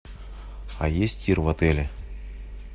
а есть тир в отеле